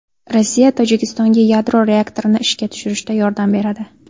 Rossiya Tojikistonga yadro reaktorini ishga tushirishda yordam beradi.